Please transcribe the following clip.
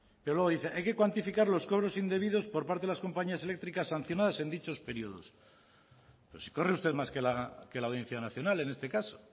pero luego dice hay que cuantificar los cobros indebidos por parte de las compañías eléctricas sancionadas en dichos periodos pero si corre usted más que la audiencia nacional en este caso